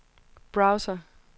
browser